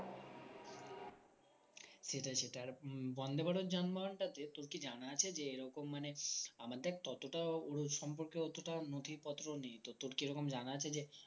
সেটাই সেটাই উম আর বন্দেভারত যানবাহনটাতে তোর কি জানা আছে যে এরকম মানে আমাদের ততটাও ওর সম্পর্কে অতটাও নথিপত্র নেই তো তোর কি এইরকম জানা আছে যে